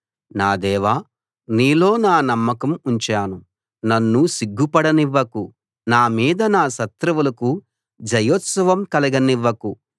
నా దేవా నీలో నా నమ్మకం ఉంచాను నన్ను సిగ్గుపడనివ్వకు నా మీద నా శత్రువులకు జయోత్సాహం కలగనివ్వకు